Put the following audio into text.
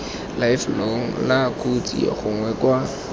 lifelong la kotsi gongwe kwa